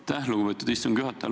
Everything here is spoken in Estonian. Aitäh, lugupeetud istungi juhataja!